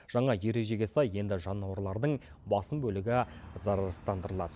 жаңа ережеге сай енді жануарлардың басым бөлігі зарарсыздандырылады